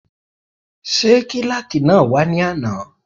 Ṣé kílàkì náà wá ní àná?